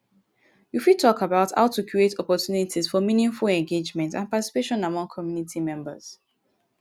you fit talk about how to create opportunities for meaningful engagement and participation among community members.